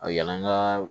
A yala n ka